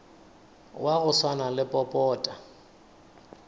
wa go swana le popota